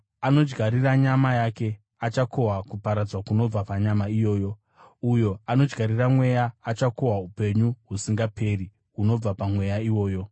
Anodyarira nyama yake, achakohwa kuparadzwa kunobva panyama iyoyo; uyo anodyarira mweya, achakohwa upenyu husingaperi hunobva paMweya iwoyo.